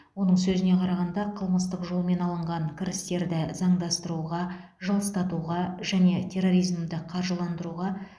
оның сөзіне қарағанда қылмыстық жолмен алынған кірістерді заңдастыруға жылыстатуға және терроризмді қаржыландыруға